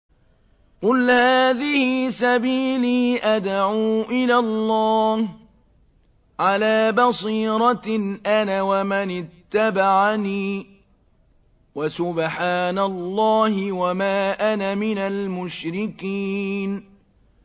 قُلْ هَٰذِهِ سَبِيلِي أَدْعُو إِلَى اللَّهِ ۚ عَلَىٰ بَصِيرَةٍ أَنَا وَمَنِ اتَّبَعَنِي ۖ وَسُبْحَانَ اللَّهِ وَمَا أَنَا مِنَ الْمُشْرِكِينَ